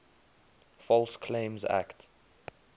false claims act